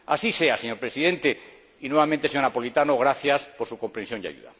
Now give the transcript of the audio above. Así sea, señor Presidente, y, nuevamente, señora Napoletano, gracias por su comprensión y ayuda.